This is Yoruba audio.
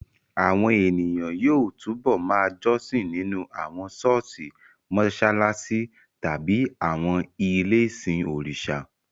Àwọn ènìyàn yóò túbọ̀ ma jọ́sìn nínú àwọn ṣọ́ọ̀ṣì, mọṣáláṣí tàbí àwọn ilé-ìsìn òrìṣà